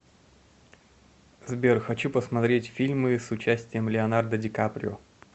сбер хочу посмтреть фильмы с участием леонардо ди каприо